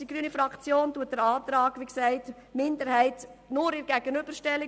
Die grüne Fraktion unterstützt den FiKo-Minderheitsantrag nur in der Gegenüberstellung.